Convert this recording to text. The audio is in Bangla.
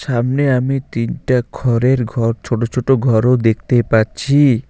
সামনে আমি তিনটা খরের ঘর ছোটো ছোটো ঘরও দেখতে পাচ্ছি।